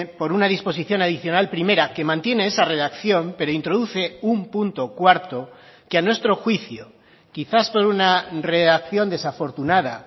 por una disposición adicional primera que mantiene esa redacción pero introduce un punto cuarto que a nuestro juicio quizás por una reacción desafortunada